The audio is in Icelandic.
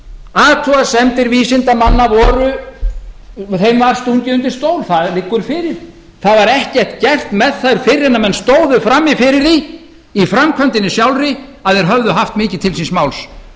athugasemdum vísindamanna var stungið undir stól það liggur fyrir það var ekkert gert með þær fyrr en menn stóðu frammi fyrir því í framkvæmdinni sjálfri að þeir höfðu haft mikið til síns máls þegar í ljós kom